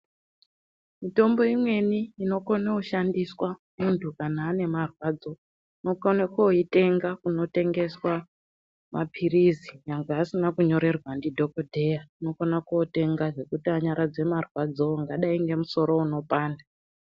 Mitombo imweni inokone kushandiswa muntu kana ane marwadzo unokone koitenga kunotengeswa mapirizi nyangwe asina kunyorerwa ndidhokodheya unokone kotenga zvekuti anyaradze marwadzo angadai ngemusoro unopanda.